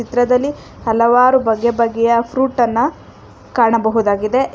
ತ್ರದಲ್ಲಿ ಹಲವಾರು ಬಗೆ ಬಗೆಯ ಫ್ರೂಟ್ ಅನ್ನ ಕಾಣಬಹುದಾಗಿದೆ.